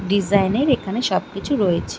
Design -এর এখানে সবকিছু রয়েছে ।